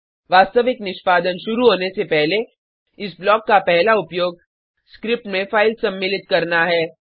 वास्तविक निष्पादन शुरु होने से पहले इस ब्लॉक का पहला उपयोग स्क्रिप्ट में फाइल्स सम्मिलित करना है